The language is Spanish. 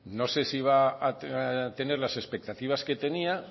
no sé si va a tener las expectativas que tenía